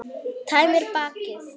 Tæmir bakið.